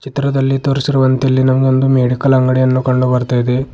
ಚಿತ್ರದಲ್ಲಿ ತೋರಿಸಿರುವಂತೆ ಇಲ್ಲಿ ನಮಗೆ ಒಂದು ಮೆಡಿಕಲ್ ಅಂಗಡಿಯನ್ನು ಕಂಡು ಬರ್ತಾ ಇದೆ.